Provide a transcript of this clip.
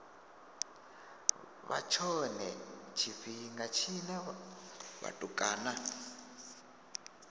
vha tshone tshifhinga tshine vhatukana